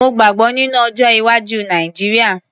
Mo gbàgbọ́ nínú ọjọ́-iwájú Nàìjíríà.